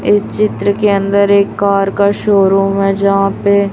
इस चित्र के अंदर एक कार का शोरूम है यहां पे--